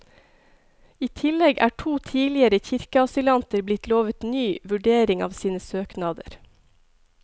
I tillegg er to tidligere kirkeasylanter blitt lovet ny vurdering av sine søknader.